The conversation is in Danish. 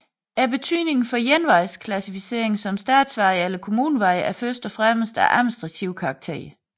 Betydningen for en vejs klassificering som statsvej eller kommunevej er først og fremmest af administrativ karakter